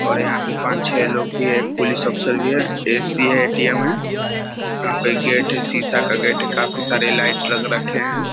और यहाँ पे पांच लोग छै एक पुलिस ऑफिसर भी है ए.सी. है ए.टी.एम. है यहाँ पे गेट है काफी शीशा का गेट है काफी सारे लाइट्स लग रखे है।